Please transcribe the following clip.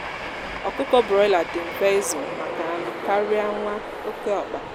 ọkụkọ broiler dị mfe izu maka anụ karịa nwa oké ọkpa